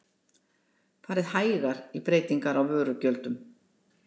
Farið hægar í breytingar á vörugjöldum